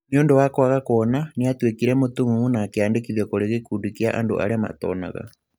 Nĩ ũndũ wa kwaga kuona, nĩ aatuĩkire mũtumumu na akĩandĩkithio kurĩ gikundi kia andu aria matonaga.